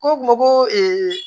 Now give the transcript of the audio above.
Ko mɔgɔ ko